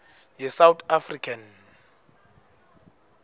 ye south african